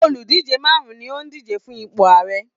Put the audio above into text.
Oludije marun-un ni ó ń díje fún ipò Ààrẹ.